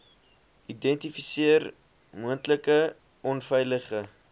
identifiseer moontlike onveilige